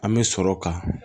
An bɛ sɔrɔ ka